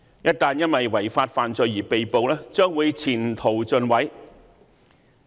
一旦因違法犯罪而被捕，將會前程盡毀。